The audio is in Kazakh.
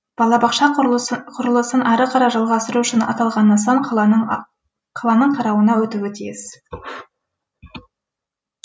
балабақша құрылысын ары қарай жалғастыру үшін аталған нысан қаланың қарауына өтуі тиіс